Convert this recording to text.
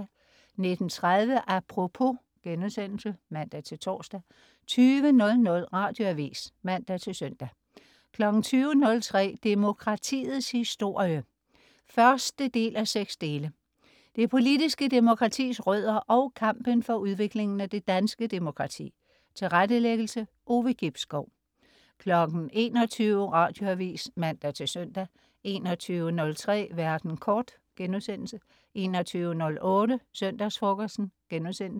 19.30 Apropos* (man-tors) 20.00 Radioavis (man-søn) 20.03 Demokratiets historie 1:6. Det politiske demokratis rødder og kampen for udviklingen af det danske demokrati. Tilrettelæggelse: Ove Gibskov 21.00 Radioavis (man-søn) 21.03 Verden kort* 21.08 Søndagsfrokosten*